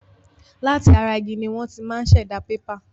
Láti ara igi ni wọ́n ti máa ṣẹ̀dá pépà.